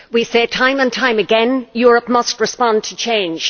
We say time and time again Europe must respond to change.